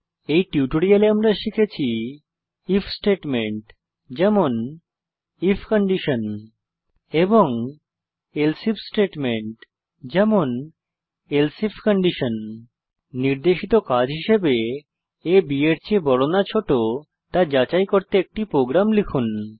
এই টিউটোরিয়ালে আমরা শিখেছি ইফ স্টেটমেন্ট যেমন আইএফ এবং এলস ইফ স্টেটমেন্ট যেমন এলসে আইএফ নির্দেশিত কাজ হিসাবে a b এর চেয়ে বড় না ছোট তা যাচাই করতে একটি প্রোগ্রাম লিখুন